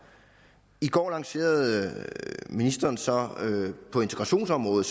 i går lancerede ministeren så på integrationsområdet